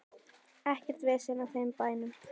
Ekkert vesen á þeim bænum.